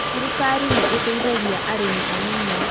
Thirikari nĩ ĩteithagia arĩmi anini.